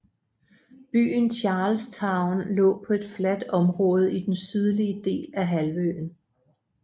Byen Charlestown lå på et fladt område i den sydlige del af halvøen